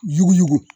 Yuguyugu